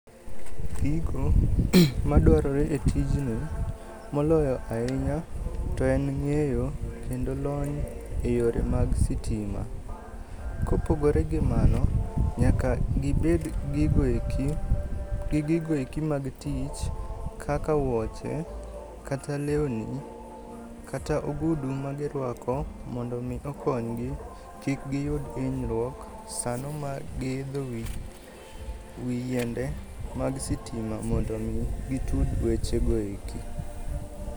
Gigo [iko dwonde] madwarore e tijni moloyo ahinya to en ng'eyo kendo lony e yore mag sitima. Kopogore gi mano nyaka gibed gi gigoeki mag tich kaka wuoche kata lewni kata ogudu magirwako mondo omi okonygi kik giyud hinyruok sano magiidho wi yiende mag sitima mondo omi gitud wechego eki.